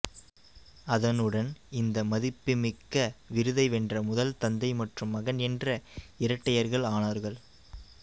அதனுடன் இந்த மதிப்புமிக்க விருதை வென்ற முதல் தந்தை மற்றும் மகன் என்ற இரட்டையர்கள் ஆனார்கள்